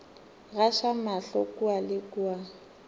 gaša mahlo kua le kua